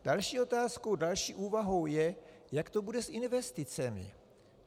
Další otázkou, další úvahou, je, jak to bude s investicemi.